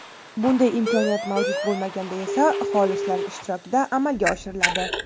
bunday imkoniyat mavjud bo‘lmaganda esa xolislar ishtirokida amalga oshiriladi.